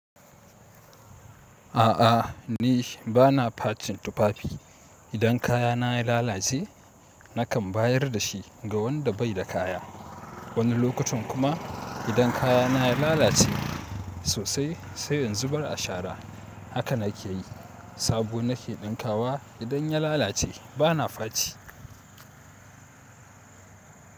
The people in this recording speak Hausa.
A'a ni bana facin tufafi. Idan kayana ya lalace nakan bayar da shi ga wanda bai da kaya. Wani lokacin kuma idan kayana ya lalace sosai sai in zubar a shara. Haka na ke yi. Sabo na ke dinkawa. Idan ya lalace bana faci.